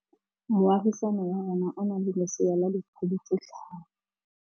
Moagisane wa rona o na le lesea la dikgwedi tse tlhano.